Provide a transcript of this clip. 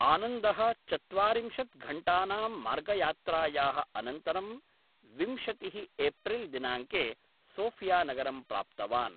आनन्दः चत्वारिंशत् घण्टानां मार्गयात्रायाः अनन्तरं विंशतिः एप्रिल् दिनाङ्के सोफियानगरं प्राप्तवान्।